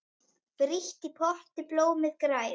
Frítt í potti blómið grær.